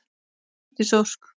Eydís Ósk.